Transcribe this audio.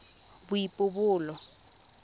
boipobolo